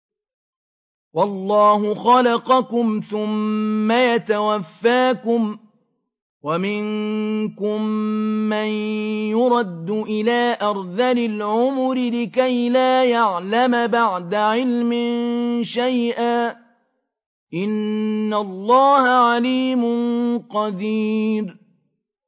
وَاللَّهُ خَلَقَكُمْ ثُمَّ يَتَوَفَّاكُمْ ۚ وَمِنكُم مَّن يُرَدُّ إِلَىٰ أَرْذَلِ الْعُمُرِ لِكَيْ لَا يَعْلَمَ بَعْدَ عِلْمٍ شَيْئًا ۚ إِنَّ اللَّهَ عَلِيمٌ قَدِيرٌ